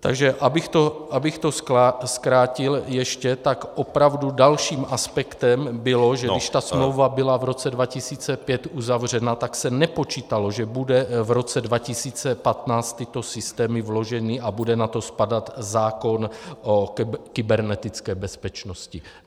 Takže abych to zkrátil ještě, tak opravdu dalším aspektem bylo, že když ta smlouva byla v roce 2005 uzavřena, tak se nepočítalo, že budou v roce 2015 tyto systémy vloženy a bude na to spadat zákon o kybernetické bezpečnosti.